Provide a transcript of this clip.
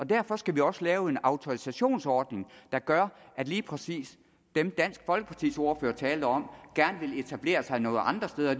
derfor skal vi også lave en autorisationsordning der gør at lige præcis dem dansk folkepartis ordfører talte om gerne vil etablere sig nogle andre steder